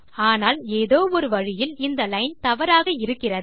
ஆனால் ஏதோ ஒரு வழியில் இந்த லைன் தவறாக இருக்கிறது